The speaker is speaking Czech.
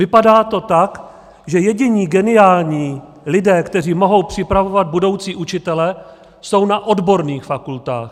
Vypadá to tak, že jediní geniální lidé, kteří mohou připravovat budoucí učitele, jsou na odborných fakultách.